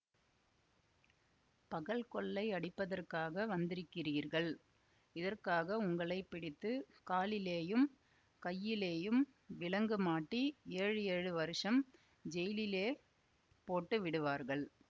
பகல் கொள்ளை அடிப்பதற்காக வந்திருக்கிறீர்கள் இதற்காக உங்களை பிடித்து காலிலேயும் கையிலேயும் விலங்கு மாட்டி ஏழு ஏழு வருஷம் ஜெயிலிலே போட்டு விடுவார்கள்